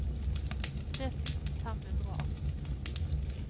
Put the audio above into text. tre tusen fem hundre og atten